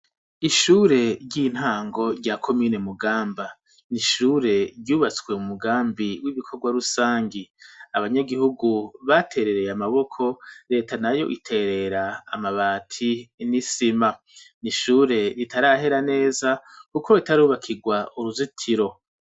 Ishure ry'intango rya komine Mugamba, ni ishure ryubatswe mu mugambi w'ibikorwa rusangi. Abanyagihugu baterereye amaboko, Leta nayo iterera amabati n'isima. Ni ishure ritarahera neza kuko ritarubakirwa uruzitiro.